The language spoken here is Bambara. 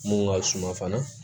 Mun ka suma fana